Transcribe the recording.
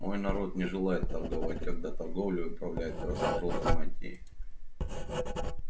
мой народ не желает торговать когда торговлей управляют красно-жёлтые мантии